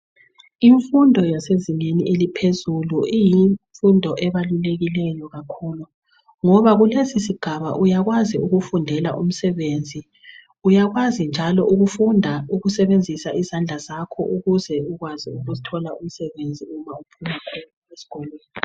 Imfundo yasezingeni eliphezulu ibalulekile kakhulu ngoba kulesisigaba uyakwazi ukufundela umsebenzi. Uyakwazi njalo ukufunda ukusebenzisa izandla zakho ukuze ukwazi ukuthola umsebenzi loba ungaphuma esikolweni.